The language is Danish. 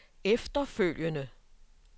efterfølgende